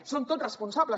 en som tots responsables